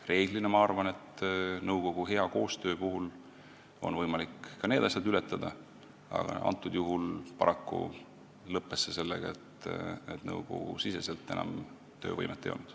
Tavaliselt, ma arvan, on nõukogus hea koostöö puhul võimalik need probleemid ületada, aga antud juhul lõppes see paraku sellega, et nõukogul enam töövõimet ei olnud.